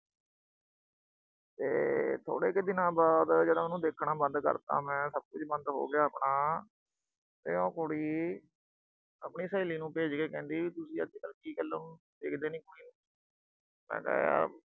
ਤੇ ਥੋੜੇ ਕ ਦਿਨਾਂ ਬਾਅਦ ਜਦੋਂ ਉਹਨੂੰ ਦੇਖਣਾ ਬੰਦ ਕਰਤਾ ਮੈਂ, ਸਭ ਕੁਝ ਬੰਦ ਹੋ ਗਿਆ ਆਪਣਾ ਤੇ ਉਹ ਕੁੜੀ ਆਪਣੀ ਸਹੇਲੀ ਨੂੰ ਭੇਜ ਕੇ ਕਹਿੰਦੀ ਕਿ ਅੱਜ ਕੱਲ ਕੀ ਗੱਲ ਉਹਨੂੰ ਦੇਖਦੇ ਨੀ, ਕੁੜੀ ਨੂੰ ਮੈਂ ਕਿਹਾ ਯਾਰ